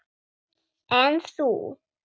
En þú?